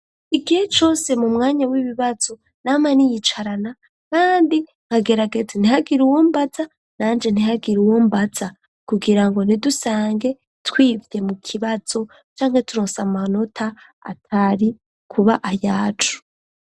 Igihe cose mu mwanya w'ibibazo nama niyicarana kandi nkagerageza ntihagire uwombaza nanje ntihagire uwombaza kugira ngo ntidusange twivye mu kibazo cangwe turose amanota atari kuba ayacu.